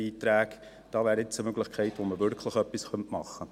Hier hat man eine Möglichkeit, wirklich etwas zu tun.